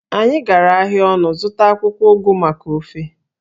Anyị gara ahịa ọnụ zụta akwụkwọ ugu maka ofe